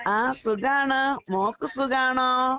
ആഹ് സുഖാണ്. മോക്ക് സുഖാണോ?